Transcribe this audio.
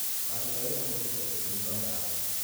Ndũkarute wĩra mũritũ ũkĩnyua ndawa.